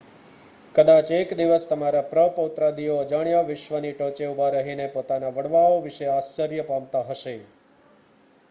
કદાચ એક દિવસ તમારા પ્ર-પ્રૌત્રાદિઓ અજાણ્યા વિશ્વની ટોચે ઊભા રહીને પોતાના વડવાઓ વિશે આશ્ચર્ય પામતાં હશે